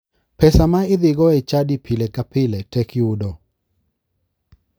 Pesa ma idhigo e chadi pile ka pile tek yudo.